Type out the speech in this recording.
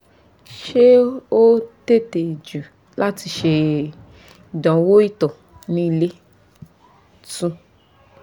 ṣe o tete ju lati ṣe idanwo ito ni ile? 2